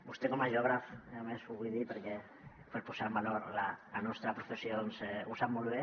vostè com a geògraf a més ho vull dir per posar en valor la nostra professió ho sap molt bé